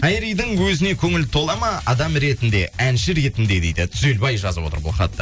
айридің өзіне көңілі тола ма адам ретінде әнші ретінде дейді түзелбай жазып отыр бұл хатты